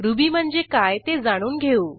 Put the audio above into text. ruby म्हणजे काय ते जाणून घेऊ